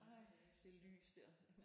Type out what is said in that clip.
Ej det lys der